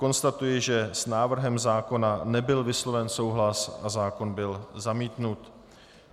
Konstatuji, že s návrhem zákona nebyl vysloven souhlas a zákon byl zamítnut.